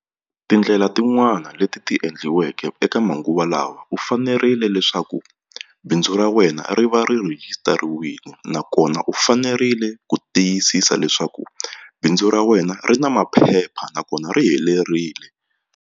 Tindlela tin'wana leti ti endliweke eka manguva lawa u fanerile leswaku bindzu ra wena ri va ri rhejisitariwile nakona u fanerile ku tiyisisa leswaku bindzu ra wena ri na maphepha nakona ri helerile.